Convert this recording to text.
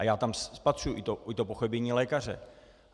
A já tam spatřuji i to pochybení lékaře.